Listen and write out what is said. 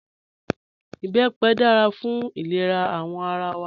Ìbẹ́pẹ dára fún ilẹ̀rà awọn ara wa